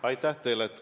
Aitäh teile!